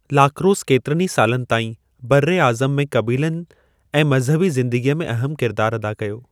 Lacrosse केतिरनि ई सालनि ताईं बर्र-ए-आज़म में क़बीलनि ऐं मज़हबी ज़िंदगी में अहमु किरिदारु अदा कयो।